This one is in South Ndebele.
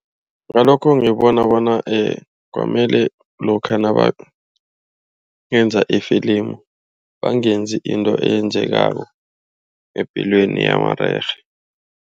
Ngalokho ngibona bona kwamele lokha nabenza ifilimu, bangenzi into eyenzekako epilweni yamarerhe.